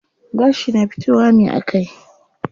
Gashi na fitowa ne a kai.